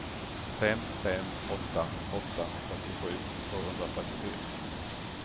fem fem åtta åtta fyrtiosju tvåhundrafyrtiofyra